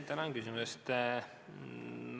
Tänan küsimuse eest!